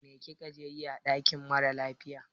Mai ka je yi ã dakin mara lafiya?